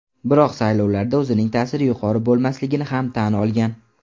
Biroq saylovlarda o‘zining ta’siri yuqori bo‘lmasligini ham tan olgan.